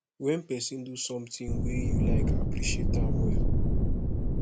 when person do something wey you like appreciate am well